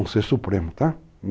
Um ser supremo, tá?